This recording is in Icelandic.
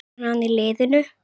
Verður hann í liðinu?